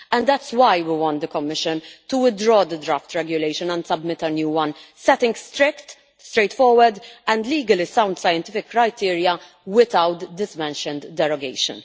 That is why we want the Commission to withdraw the draft regulation and submit a new one, setting strict, straightforward and legally sound, scientific criteria without this aforementioned derogation.